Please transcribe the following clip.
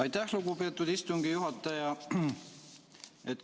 Aitäh, lugupeetud istungi juhataja!